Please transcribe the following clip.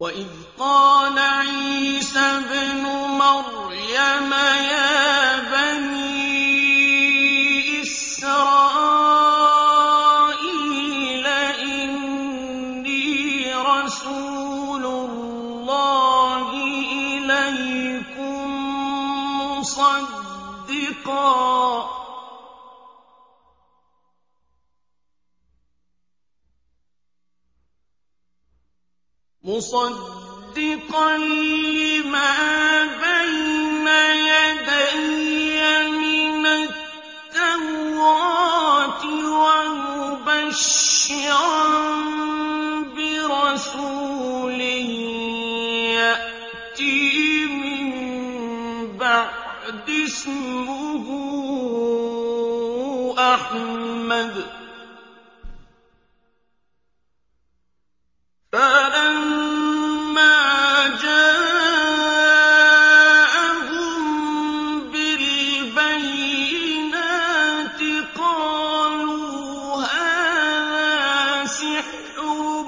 وَإِذْ قَالَ عِيسَى ابْنُ مَرْيَمَ يَا بَنِي إِسْرَائِيلَ إِنِّي رَسُولُ اللَّهِ إِلَيْكُم مُّصَدِّقًا لِّمَا بَيْنَ يَدَيَّ مِنَ التَّوْرَاةِ وَمُبَشِّرًا بِرَسُولٍ يَأْتِي مِن بَعْدِي اسْمُهُ أَحْمَدُ ۖ فَلَمَّا جَاءَهُم بِالْبَيِّنَاتِ قَالُوا هَٰذَا سِحْرٌ